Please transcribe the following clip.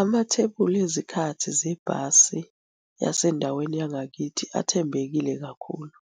Amathebuli ezikhathi zebhasi yasendaweni yangakithi athembekile kakhulu.